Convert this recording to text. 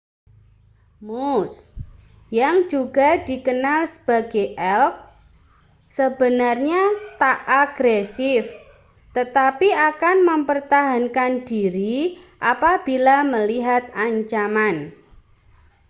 moose yang juga dikenal sebagai elk sebenarnya tak agresif tetapi akan mempertahankan diri apabila melihat ancaman